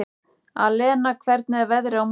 Alena, hvernig er veðrið á morgun?